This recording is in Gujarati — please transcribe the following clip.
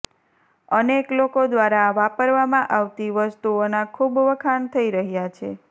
અનેક લોકો દ્રારા વાપરવામાં આવતી વસ્તુઓના ખુબ વખાણ થઈ રહ્યા છે